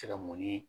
Tɛŋo ni